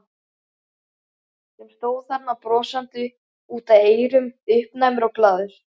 Sem stóð þarna brosandi út að eyrum, uppnæmur og glaður.